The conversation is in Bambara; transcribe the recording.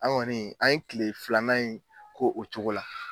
Anw ŋɔni an ye kile filanan in k'o o cogo la